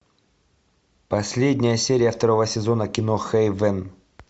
последняя серия второго сезона кино хейвен